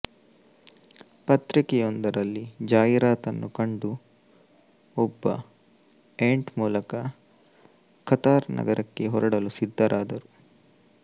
ಪತ್ರಿಕೆಯೊಂದರಲ್ಲಿ ಜಾಹಿರಾತನ್ನು ಕಂಡು ಒಬ್ಬ ಏಂಟ್ ಮೂಲಕ ಕತಾರ್ ನಗರಕ್ಕೆ ಹೊರಡಲು ಸಿದ್ಧರಾದರು